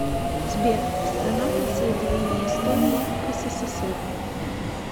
сбер страна присоединение эстонии к ссср